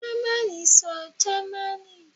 Germani sọ Germani